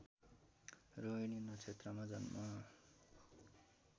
रोहिणी नक्षत्रमा जन्म